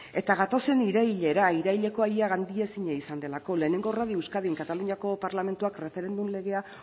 eta gatozen irailera iraileko ia gaindituezina izan delako lehenengo radio euskadin kataluniako parlamentuak erreferendum legea